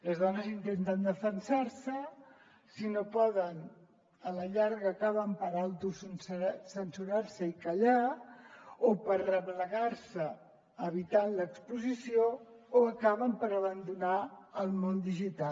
les dones intenten defensar se si no poden a la llarga acaben per autocensurar se i callar o per replegar se evitant l’exposició o acaben per abandonar el món digital